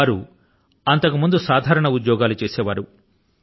వారు అంతకుముందు సాధారణ ఉద్యోగాలు చేసే వారు